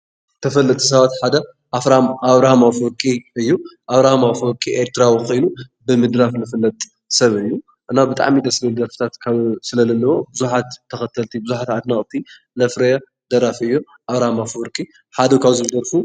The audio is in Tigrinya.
ተፈለጥቲ ሰባት ሓደ ኣብራሃም ኣፈ-ወርቂ እዩ። ኣብራሃም ኣፈ-ወርቂ ኤርትራዊ ኮይኑ ብምድራፍ ዝፍለጥ ሰብ እዩ። እና ብጣዕሚ ደስ ዝብል ደርፊታት ስለለለዎ ብዙሓት ተኸተልቲ ፣ብዙሓት ኣድነቕቲ ዘፍረየ ደራፊ እዩ። ኣብራሃም ኣፈ-ወርቂ ሓደ ካብዞም ዝደርፉ